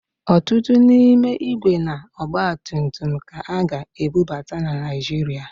Ọtụtụ n'ime ígwè na ọgbatumtum ka a ga-ebubata na Naịjirịa